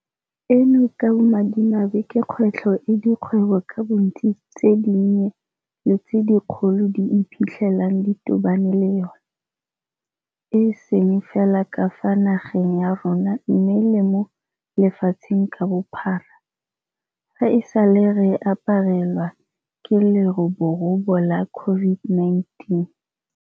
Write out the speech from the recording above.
Eno ka bomadimabe ke kgwetlho e dikgwebo ka bontsi tse dinnye le tse dikgolo di iphitlhelang di tobane le yona, e seng fela ka fa nageng ya rona mme le mo lefatsheng ka bophara, fa e sale re aparelwa ke leroborobo la COVID-19.